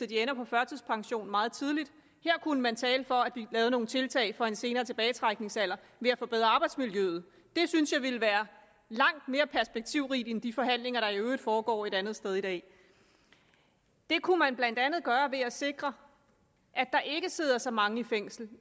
de ender på førtidspension meget tidligt her kunne man tale for at vi lavede nogle tiltag få en senere tilbagetrækningsalder ved at forbedre arbejdsmiljøet det synes jeg ville være langt mere perspektivrigt end de forhandlinger der i øvrigt foregår et andet sted i dag det kunne man blandt andet gøre ved at sikre at der ikke sidder så mange i fængsel